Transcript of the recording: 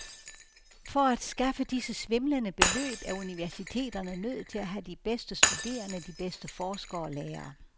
For at skaffe disse svimlende beløb er universiteterne nødt til at have de bedste studerende, de bedste forskere og lærere.